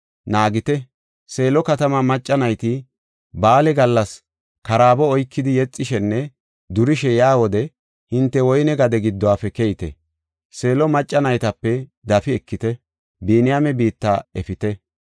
naagite. Seelo katamaa macca nayti ba7aale gallas karaabo oykidi, yexishenne durishe yaa wode hinte woyne gade giddofe keyite. Seelo macca naytape dafi ekidi, Biniyaame biitta efite.